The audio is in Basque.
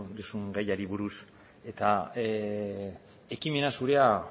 duzun gaiari buruz eta ekimena zurea